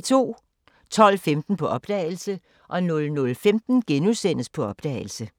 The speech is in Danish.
12:15: På opdagelse 00:15: På opdagelse *